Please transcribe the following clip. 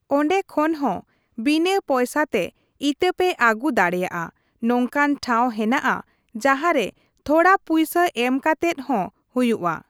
ᱚᱸᱰᱮ ᱠᱷᱚᱱ ᱦᱚᱸ ᱵᱤᱱᱟᱹ ᱯᱚᱭᱥᱟ ᱛᱮ ᱤᱛᱟᱹ ᱯᱮ ᱟᱹᱜᱩ ᱫᱟᱲᱮᱭᱟᱜᱼᱟ ᱾ ᱱᱚᱝᱠᱟᱱ ᱴᱷᱟᱶ ᱦᱮᱱᱟᱜᱼᱟ ᱡᱟᱸᱦᱟ ᱨᱮ ᱛᱷᱚᱲᱟ ᱯᱩᱭᱥᱟ ᱮᱢ ᱠᱟᱛᱮᱫ ᱦᱚᱸ ᱦᱩᱭᱩᱜᱼᱟ ᱾